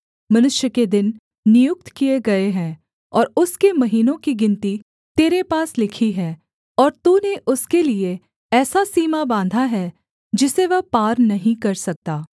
मनुष्य के दिन नियुक्त किए गए हैं और उसके महीनों की गिनती तेरे पास लिखी है और तूने उसके लिये ऐसा सीमा बाँधा है जिसे वह पार नहीं कर सकता